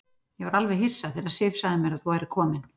Ég var alveg hissa þegar Sif sagði mér að þú værir kominn.